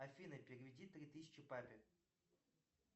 афина переведи три тысячи папе